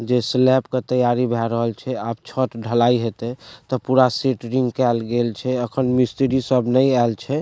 जे स्लैब के तैयारी भय रहल छै अब छत ढलाई हेते त पूरा सेट्रिंग कयल गेएल छै एखन मिस्त्री सब नहीं आएल छै।